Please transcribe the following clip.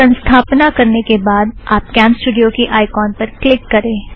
संस्थपना करने के बाद आप कॅमस्टूड़ियो की आइकौन पर क्लिक करें